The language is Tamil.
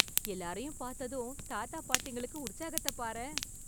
எல்லாரையும் பார்த்ததும் தாத்தா பாட்டிங்களுக்கு உற்சாகத்தப் பாரேன்...